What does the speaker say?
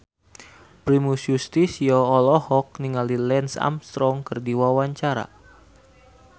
Primus Yustisio olohok ningali Lance Armstrong keur diwawancara